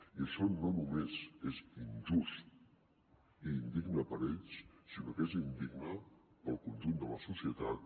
i això no només és injust i indigne per a ells sinó que és indigne per al conjunt de la societat